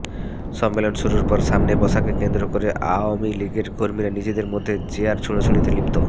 সম্মেলন শুরুর পর সামনে বসাকে কেন্দ্র করে আওয়ামী লীগের কর্মীরা নিজেদের মধ্যে চেয়ার ছোড়াছুড়িতে লিপ্ত